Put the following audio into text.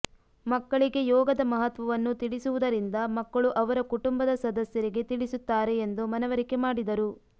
ಮಕ್ಕಳಿಗೆ ಯೋಗದ ಮಹತ್ವವನ್ನು ತಿಳಿಸುವುದರಿಂದ ಮಕ್ಕಳು ಅವರ ಕುಟುಂಬದ ಸದಸ್ಯರಿಗೆ ತಿಳಿಸುತ್ತಾರೆ ಎಂದು ಮನವರಿಕೆ ಮಾಡಿದರು